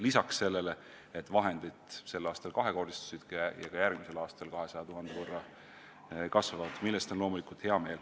Lisaks on vahendid sel aastal kahekordistunud, järgmisel aastal kasvavad need 200 000 euro võrra, mille üle on loomulikult hea meel.